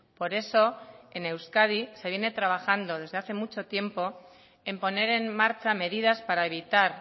por eso en euskadi se viene trabajando desde hace mucho tiempo en poner en marcha medidas para evitar